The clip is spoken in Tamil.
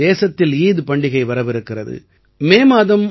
வரும் நாட்களில் தேசத்தில் ஈத் பண்டிகை வரவிருக்கிறது